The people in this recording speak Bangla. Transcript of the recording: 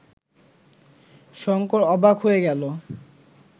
শঙ্কর অবাক হয়ে গেল